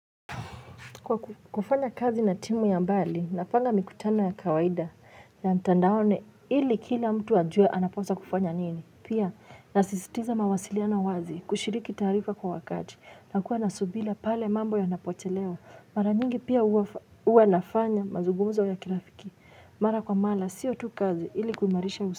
Kwa kufanya kazi na timu ya mbali, napanga mikutano ya kawaida ya mtandaoni ili kila mtu ajue anaposa kufanya nini. Pia, nasistiza mawasiliano wazi kushiriki taarifa kwa wakati na kuwa nasubira pale mambo ya napochelewa. Mara nyingi pia uwa nafanya mazugumuzo ya kirafiki. Mara kwa mara, siyo tu kazi ili kuimarisha usi.